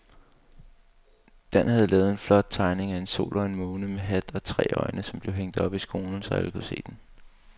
Dan havde lavet en flot tegning af en sol og en måne med hat og tre øjne, som blev hængt op i skolen, så alle kunne se den.